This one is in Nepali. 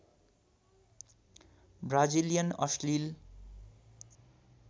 ब्राजिलियन अश्लील